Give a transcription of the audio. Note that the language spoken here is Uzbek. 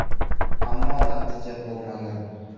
Ammo, natija bo‘lmagan.